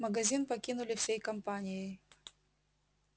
магазин покинули всей компанией